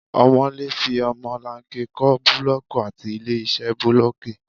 Ọmọ̀lé fi ọmọlanke kó búlọ́ọ́kì láti ilé-iṣẹ́ bulooki.